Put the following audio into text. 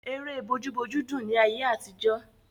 Ère bójú bójú dùn ni ayé àtijọ́.